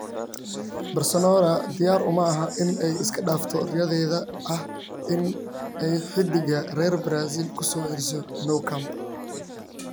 (AS) Barcelona diyaar uma aha in ay iska dhaafto riyadeeda ah in ay xiddiga reer Brazil ku soo celiso Nou Camp.